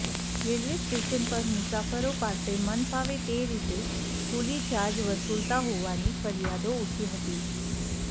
railway station પર મુસાફરો પાસે મનફાવે તે રીતે કુલી ચાર્જ વસુલતાં હોવાની ફરિયાદો ઉઠી હતી